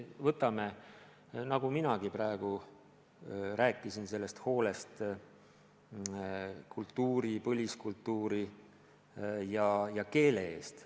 Ma rääkisin praegu vajalikust hoolest põliskultuuri ja keele eest.